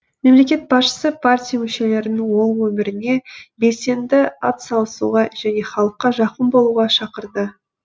мемлекет басшысы партия мүшелерін ол өміріне белсенді атсалысуға және халыққа жақын болуға шақырды